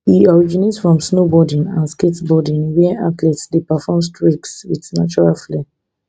e originate from snowboarding and skateboarding wia athletes dey perform tricks wit natural flair